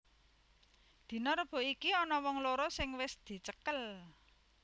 Dina Rebo iki ana wong loro sing wis dicekel